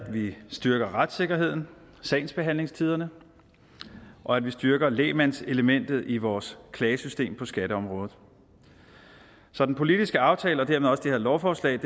vi styrker retssikkerheden sagsbehandlingstiderne og at vi styrker lægmandselementet i vores klagesystem på skatteområdet så den politiske aftale og dermed også det her lovforslag